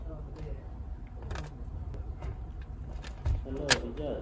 Hello Bijoy